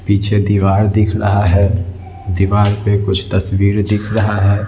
पीछे दीवार दिख रहा है दीवार पे कुछ तस्वीर दिख रहा है।